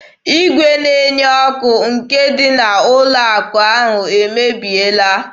Igwe na-enye ọkụ nke ndị ụlọ akụ ahụ emebiela.